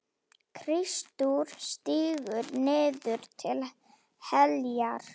Kristur stígur niður til heljar.